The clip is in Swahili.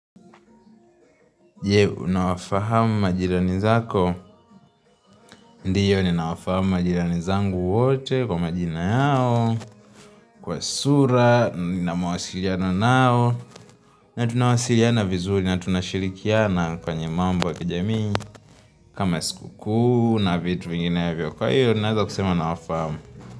Je, unawafahamu majirani zako, ndiyo ninawafahamu majirani zangu wote kwa majina yao, kwa sura, nina mawasiliano nao, na tunawasiliana vizuri, na tunashirikiana kwenye mambo ya kijamii, kama siku kuu na vitu vinginevyo, kwa hiyo ninaweza kusema nawafahamu.